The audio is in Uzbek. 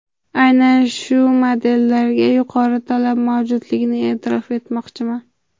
Aynan ushbu modellarga yuqori talab mavjudligini e’tirof etmoqchiman.